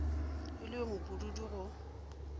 e le yo mopududu go